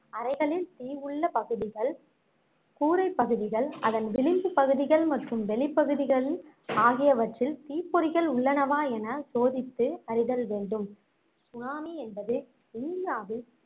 அறைகளில் தீ உள்ள பகுதிகள் கூரைப் பகுதிகள் அதன் விளம்பு பகுதிகள் மற்றும் வெளிப்பகுதிகள் ஆகியவற்றில் தீப்பொறிகள் உள்ளனவா என சோதித்து அறிதல் வேண்டும் சுனாமி என்பது இந்தியாவில்